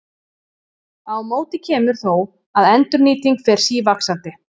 Á móti kemur þó að endurnýting fer sívaxandi.